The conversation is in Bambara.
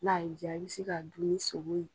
N'a y'i ja i bɛ se k'a dun ni sogo ye.